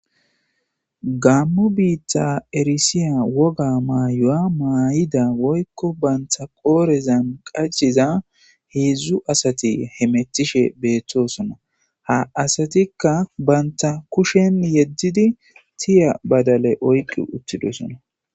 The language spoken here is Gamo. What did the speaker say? Gamo bita erisiya woga mayuwa mayida woyko banta qodhezan qachiza hedzu asati hemetishe betosona ha asatikka banta kushen yedidi tiya badale oyqi utididosona